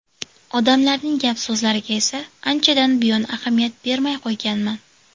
Odamlarning gap-so‘zlariga esa anchadan buyon ahamiyat bermay qo‘yganman”.